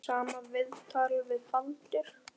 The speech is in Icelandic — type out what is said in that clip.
Sama viðtal við Baldur.